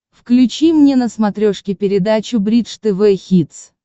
включи мне на смотрешке передачу бридж тв хитс